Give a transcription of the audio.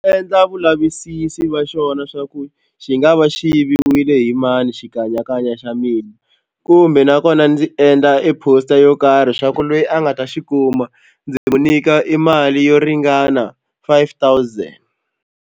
Endla vulavisisi va xona xa ku xi nga va xi yiviwile hi mani xikanyakanya xa mina kumbe nakona ndzi endla e poster yo karhi swa ku lweyi a nga ta xi kuma ndzi n'wi nyika i mali yo ringana five thousand.